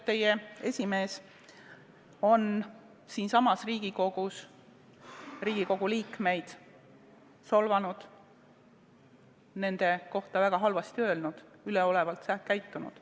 Teie esimees on siinsamas Riigikogus Riigikogu liikmeid solvanud, nende kohta väga halvasti öelnud, üleolevalt käitunud.